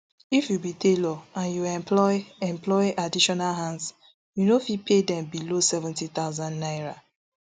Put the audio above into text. if you be tailor and you employ employ additional hands you no fit pay dem below seventy thousand naira